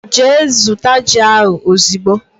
Gee zụta jị a ozigbo!!!